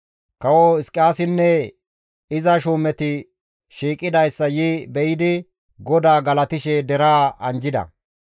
Kawo Hizqiyaasinne iza shuumeti shiiqidayssa yi be7idi GODAA galatishe deraa anjjida.